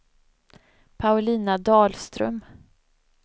Paulina Dahlström